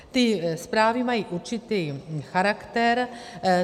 Ty zprávy mají určitý charakter.